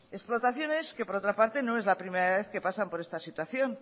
explotaciones que por otra parte no es la primera vez que pasan por esta situación